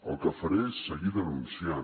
el que faré és seguir denunciant